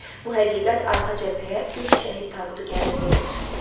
Bu həqiqət arxa cəbhəyə ilk şəhid tabutu gələndə üzə çıxdı.